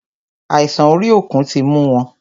Àìsàn orí òkun tí mú wọn.